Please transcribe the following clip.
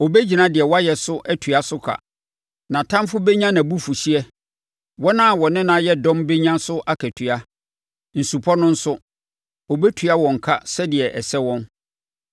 Ɔbɛgyina deɛ wɔayɛ so atua so ka. Nʼatamfoɔ bɛnya nʼabufuhyeɛ. Wɔn a wɔne no ayɛ dɔm bɛnya so akatua; nsupɔ no nso, ɔbɛtua wɔn ka sɛdeɛ ɛsɛ wɔn.